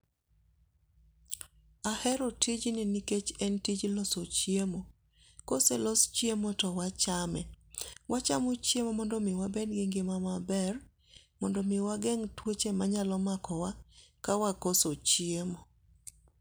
Ahero tijni nikech en tij loso chiemo. Koselos chiemo to wachame. Wachamo chiemo mondo omi wabed gi ngima maber mondo omi wageng' tuoche ma nyalo mako wa kawakoso chiemo.